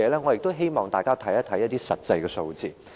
我也希望大家看看一些實際數字。